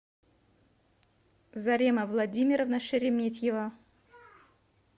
зарема владимировна шереметьева